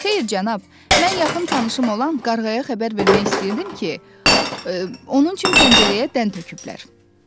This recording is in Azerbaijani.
Xeyr, cənab, mən yaxın tanışım olan qarğaya xəbər vermək istəyirdim ki, onun üçün pəncərəyə dən töküblər.